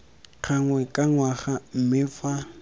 gangwe ka ngwaga mme fa